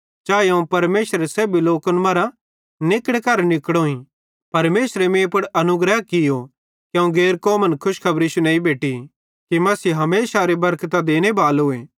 चाए अवं परमेशरेरे सेब्भी लोकन मरां निकड़े करां निकोड़ोईं परमेशरे मीं पुड़ अनुग्रह कियो कि अवं गैर कौमन खुशखबरी शुनेइं बेटि कि मसीह हमेशारी बरकतां केरो देनेबालोए